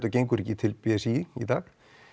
gengur ekki til b s í í dag